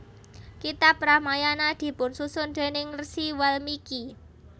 Kitab Ramayana dipunsusun déning Rsi Walmiki